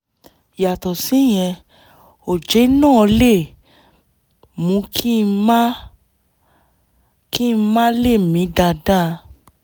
yàtọ̀ síyẹn oje náà lè mú kí n má kí n má lè mí dáadáa